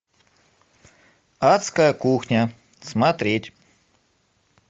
адская кухня смотреть